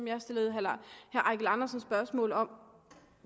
jeg stillede herre eigil andersen spørgsmål om